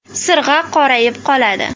Sirg‘a qorayib qoladi.